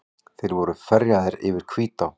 Þeir voru ferjaðir yfir Hvítá.